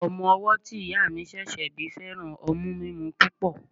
Ọmọ owọ́ tí ìyá mi ṣẹ̀ṣẹ̀ bí fẹ́ràn ọmú mímú púpọ̀.